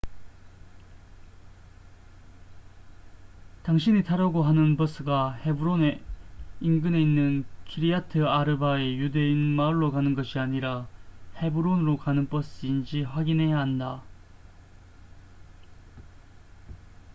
당신이 타려고 하는 버스가 헤브론의 인근에 있는 키리아트 아르바의 유대인 마을로 가는 것이 아니라 헤브론으로 가는 버스인지 확인해야 한다